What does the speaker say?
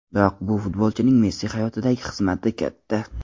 Biroq bu futbolchining Messi hayotidagi xizmati katta.